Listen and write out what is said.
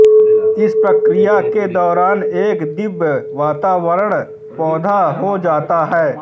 इस प्रक्रिया के दौरान एक दिव्य वातावरण पैदा हो जाता है